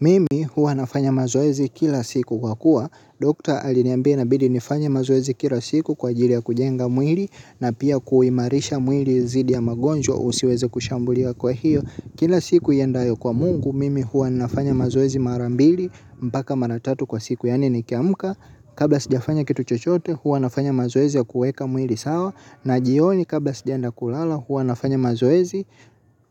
Mimi hua nafanya mazoezi kila siku kwa kuwa. Dokta aliniambia inabidi nifanye mazoezi kila siku kwa ajili ya kujenga mwili na pia kuimarisha mwili zidi ya magonjwa usioweza kushambulia kwa hiyo. Kila siku iendayo kwa mungu mimi hua nafanya mazoezi mara mbili mpaka mara tatu kwa siku yaani nikiamka kabla sijafanya kitu chochote hua nafanya mazoezi ya kuuweka mwili sawa na jioni kabla sijaenda kulala hua nafanya mazoezi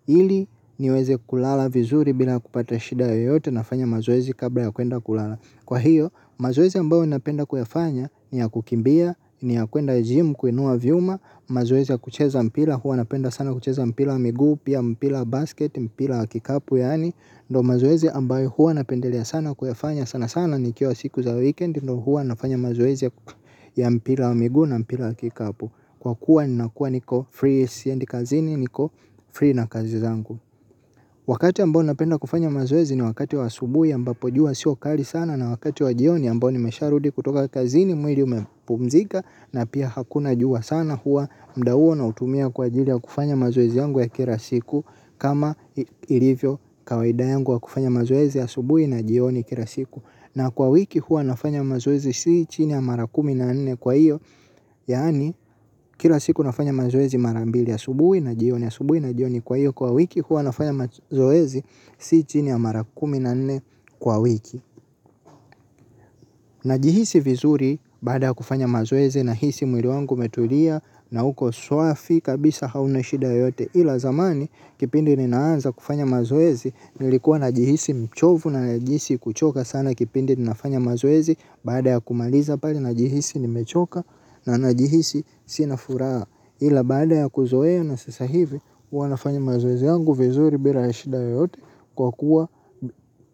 ili niweze kulala vizuri bila kupata shida yoyote nafanya mazoezi kabla ya kuenda kulala kwa hiyo mazoezi ambayo ninapenda kuyafanya ni ya kukimbia ni ya kuenda jimu kuinua vyuma mazoezi ya kucheza mpira hua napenda sana kucheza mpira miguu pia mpira wa basket mpira kikapu yaani ndo mazoezi ambayo hua napendelea sana kuyafanya sana sana nikiwa siku za weekend ndo hua nafanya mazoezi ya mpira wa miguu na mpira wa kikapu kwa kuwa ninakuwa niko free siendi kazini niko free na kazi zangu wakati ambao ninapenda kufanya mazoezi ni wakati wa asubuhi ambapo jua sio kali sana na wakati wa jioni ambao nimesharudi kutoka kazini mwili umepumzika na pia hakuna jua sana hua mda huo nautumia kwa ajili ya kufanya mazoezi yangu ya kila siku kama ilivyo kawaida yangu wa kufanya mazoezi ya asubuhi na jioni kila siku na kwa wiki hua nafanya mazoezi sii chini ya mara kumi na nne kwa iyo yaani kira siku nafanya mazoezi mara mbili asubuhi na jioni asubuhi na jioni kwa iyo kwa wiki hua nafanya mazoezi sii chini ya mara kumi na nne kwa wiki najihisi vizuri baada ya kufanya mazoezi nahisi mwili wangu umetulia na uko swafi kabisa hauna shida yoyote ila zamani kipindi ninaanza kufanya mazoezi nilikuwa najihisi mchovu na najihisi kuchoka sana kipindi ninafanya mazoezi baada ya kumaliza pale najihisi nimechoka na najihisi sina furaha ila baada ya kuzoea na sasa hivi hua nafanya mazoezi yangu vizuri bila ya shida yoyote kwa kuwa.